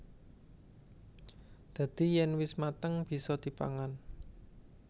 Dadi yèn wis mateng bisa dipangan